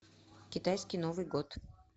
китайский новый год